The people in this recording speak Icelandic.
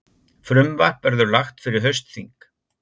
Frumvarp verður lagt fyrir haustþing